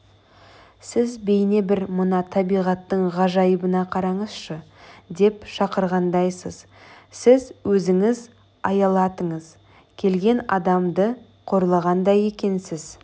сіз бейне бір мына табиғаттың ғажайыбына қараңызшы деп шақырғандайсыз сіз өзіңіз аялатыңыз келген адамды қорлағандай екенсіз